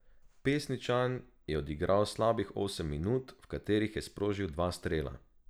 Pesničan je odigral slabih osem minut, v katerih je sprožil dva strela.